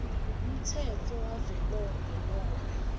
umtsetfo wavelonkhe nobe